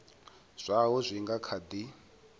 zwaho zwi nga kha di